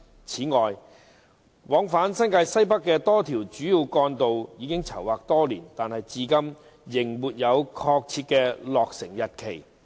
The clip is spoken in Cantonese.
此外，往返新界西北的多條主要幹道已籌劃多年，但至今仍沒有確切的落成日期。